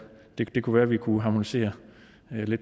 kunne være vi kunne harmonisere